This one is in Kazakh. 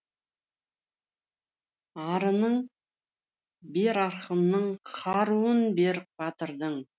арынын бер ақынның қаруын бер батырдың